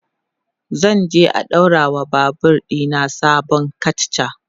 zanje a ɗaura wa Babur ɗina sabon katcha